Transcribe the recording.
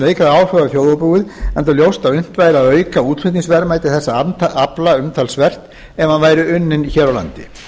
á þjóðarbúið enda ljóst að unnt væri að auka útflutningsverðmæti þessa afla umtalsvert ef hann væri unninn hér á landi